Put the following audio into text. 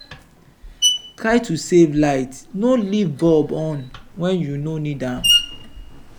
try to save light no leave bulb on when you no need am.